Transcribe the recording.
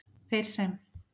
Þeir sem